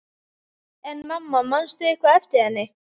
En mamma, manstu eitthvað eftir henni?